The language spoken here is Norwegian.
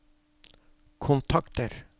kontakter